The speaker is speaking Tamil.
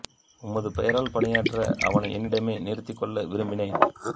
உமது பெயரால் பணியாற்ற அவனை என்னிடமே நிறுத்திக் கொள்ள விரும்பினேன்